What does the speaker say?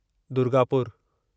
दुर्गापुरु